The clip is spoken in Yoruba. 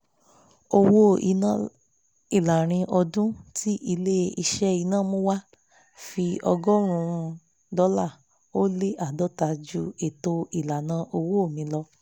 owó iná ìlàrin ọdún tí ilé-iṣẹ́ iná mú wá fi ọgọ́rùn-ún dọ́là ó lé àádọ́ta ju ètò ìlànà owó mi lọ